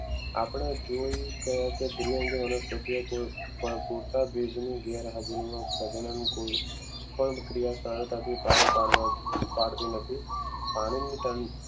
આપણે જોઈ દ્વિઅંગી અને સત્ય ગુણ ગેરહાજરીમાં પણ ક્રિયા સરળતાથી પાર પાડવા પાડતી નથી પાણીની તણી